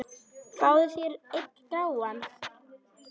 Fáðu þér einn gráan!